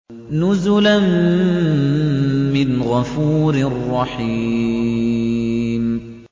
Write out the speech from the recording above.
نُزُلًا مِّنْ غَفُورٍ رَّحِيمٍ